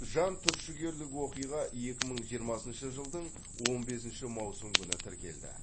жантүршігерлік оқиға екі мың жиырмасыншы жылдың он бесінші маусым күні тіркелді